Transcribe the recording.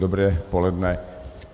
Dobré poledne.